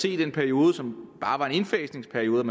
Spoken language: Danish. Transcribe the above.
i den periode som bare var en indfasningsperiode